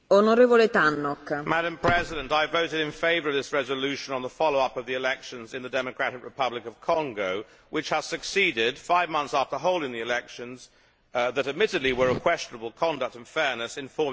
Madam President, I voted in favour of this resolution on the follow up of the elections in the Democratic Republic of Congo, which has succeeded, five months after holding elections that admittedly were of questionable conduct and fairness in forming a new government.